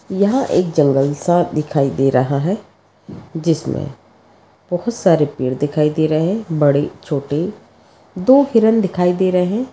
यहाँ एक जंगल सा दिखाई दे रहा है जिसमे बहुत सारे पेड़ दिखाई दे रहे है बड़े छोटे दो हिरण दिखाई दे रहे है।